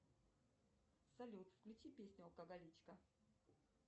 салют включи песню алкоголичка